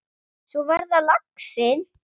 Svo var það laxinn!